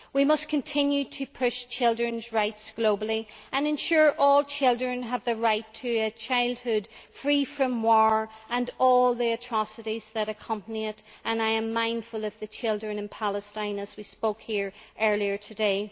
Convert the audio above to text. We must continue to push children's rights globally and ensure all children have the right to a childhood free from war and all the atrocities that accompany it, and I am mindful of the children in Palestine whom we spoke about here earlier today.